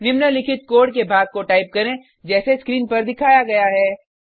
निम्नलिखित कोड के भाग को टाइप करें जैसे स्क्रीन पर दिखाया गया है